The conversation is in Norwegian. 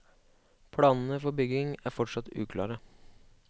Planene for bygningen er fortsatt uklare.